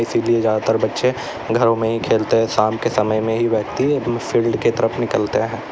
इसीलिए ज्यादातर बच्चे घरों में ही खेलते है शाम के समय में ही व्यक्ति फील्ड के तरफ निकलते है।